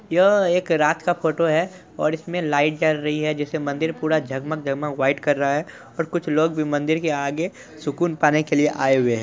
यह एक रात का फोटो है और इसमें लाइट जल रही है जिस में मंदिर पूरा जगमग जगमग व्हाइट कर रहा है और कुछ लोग भी मंदिर के आगे सुकून पाने के लिए आए हुए हैं।